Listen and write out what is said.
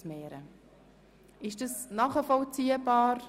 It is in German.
Ist dieses Vorgehen für alle nachvollziehbar?